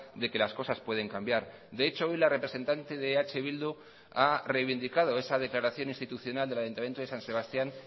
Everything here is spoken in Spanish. de que las cosas pueden cambiar de hecho hoy la representante de eh bildu ha reivindicado esa declaración institucional del ayuntamiento de san sebastián